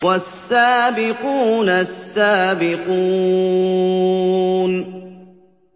وَالسَّابِقُونَ السَّابِقُونَ